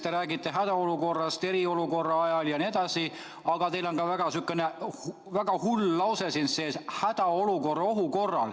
Te räägite hädaolukorrast eriolukorra ajal jne, aga teil on siin ka üks sihukene väga hull fraas sees: "hädaolukorra ohu korral".